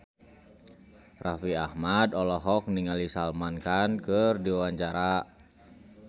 Raffi Ahmad olohok ningali Salman Khan keur diwawancara